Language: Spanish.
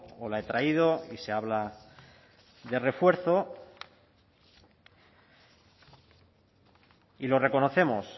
o la he traído y se habla de refuerzo y lo reconocemos